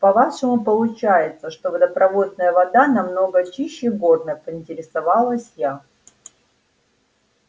по-вашему получается что водопроводная вода намного чище горной поинтересовалась я